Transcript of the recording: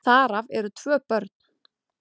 Þar af eru tvö börn.